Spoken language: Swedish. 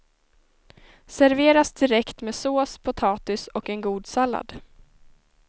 Serveras direkt med sås, potatis och en god sallad.